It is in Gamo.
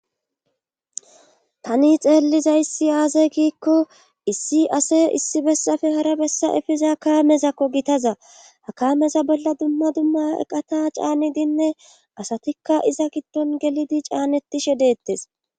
tani xeellizayssi aaze giikko issi ase issi bessafe hara bessa efiza kaamezakko gitaza hakameza bolla dumma dumma eqata caanidinne asatikka iza giddon gelidi caanetishe deettes